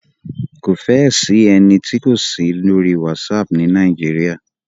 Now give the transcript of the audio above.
Kò fẹ́ ẹ sí ẹni tí kò sí ní orí WhatsApp ni Nàíjíríà.